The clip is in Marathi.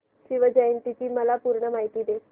शिवजयंती ची मला पूर्ण माहिती दे